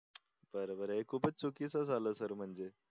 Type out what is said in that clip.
बरोबर ये हे खूप च चुकीचं झालं म्हणजे sir